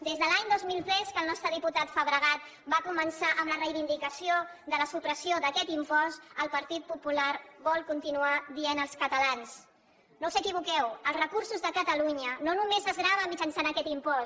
des de l’any dos mil tres que el nostre diputat fabregat va començar amb la reivindicació de la supressió d’aquest impost el partit popular vol continuar dient als catalans no us equivoqueu els recursos de catalunya no només es graven mitjançant aquest impost